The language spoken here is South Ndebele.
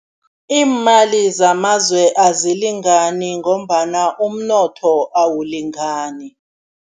Iimali zamazwe azilingani ngombana umnotho awulingani.